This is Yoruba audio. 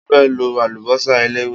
Mo fẹ́ lo àlùbọ́sà eléwé.